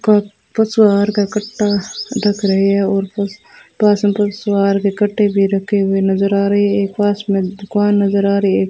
का पशु आहार का कट्टा रख रहे हैं और पास में पशु आहार के कट्टे भी रखे हुए नजर आ रहे है एक पास में दुकान नजर आ रही है।